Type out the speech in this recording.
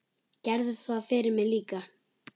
Gerðu það fyrir mig líka.